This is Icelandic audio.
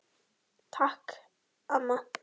Takk, amma.